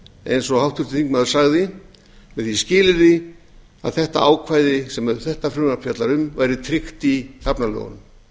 eins og háttvirtur þingmaður sagði með því skilyrði að þetta ákvæði sem þetta frumvarp fjallar um væri tryggt í hafnalögunum